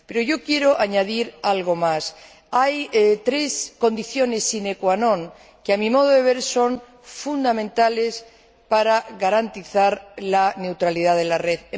Yo quiero añadir algo más hay tres condiciones sine que non que, a mi modo de ver, son fundamentales para garantizar la neutralidad de la red.